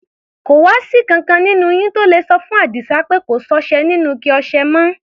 Kò wá sí ìkankan nínú yín tó le sọ fún Àdísá pé kò sọ́ṣẹ nínú ike ọṣẹ mọ́?